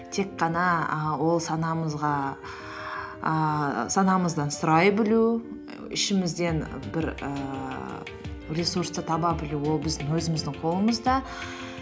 тек қана і ол ііі санамыздан сұрай білу ішімізден бір ііі ресурсты таба білу ол біздің өзіміздің қолымызда